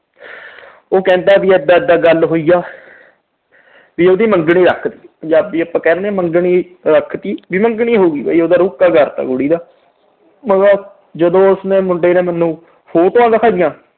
ਉਹ ਕਹਿੰਦਾ ਵੀ ਏਦਾਂ ਏਦਾਂ ਗੱਲ ਹੋਈ ਆ। ਵੀ ਉਹਦੀ ਮੰਗਣੀ ਰੱਖਤੀ। ਜਦ ਵੀ ਆਪਾ ਕਹਿ ਦਿੰਦੇ ਆ ਵੀ ਮੰਗਣੀ ਰੱਖਤੀ ਵੀ ਮੰਗਣੀ ਹੋ ਗਈ ਵੀ ਉਹਦਾ ਰੋਕਾ ਕਰਤਾ ਕੁੜੀ ਦਾ। ਜਦੋਂ ਉਸਨੇ ਮੁੰਡੇ ਨੇ ਮੈਨੂੰ photos ਦਿਖਾਈਆਂ